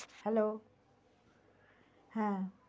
hello হ্যা